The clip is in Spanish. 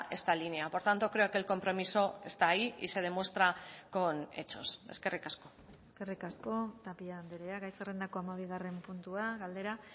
esta línea por tanto creo que el compromiso está ahí y se demuestra con hechos eskerrik asko eskerrik asko tapia andrea gai zerrendako hamabigarren puntua galdera